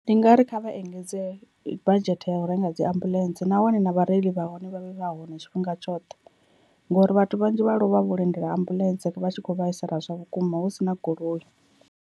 Ndi nga ri kha vha engedze badzhethe ya u renga dzi ambuḽentse, nahone na vhareili vha hone vha vhe vha hone tshifhinga tshoṱhe, ngori vhathu vhanzhi vha lovha vho lindela ambuḽentse vha tshi kho vhaisala zwavhukuma husina goloi.